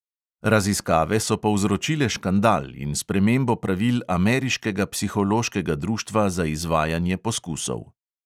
Raziskave so povzročile škandal in spremembo pravil ameriškega psihološkega društva za izvajanje poskusov.